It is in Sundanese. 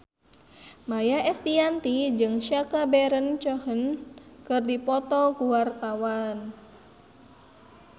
Maia Estianty jeung Sacha Baron Cohen keur dipoto ku wartawan